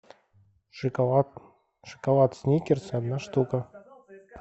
шоколад шоколад сникерс одна штука